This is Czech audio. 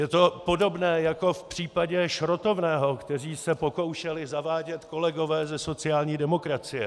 Je to podobné jako v případě šrotovného, které se pokoušeli zavádět kolegové ze sociální demokracie.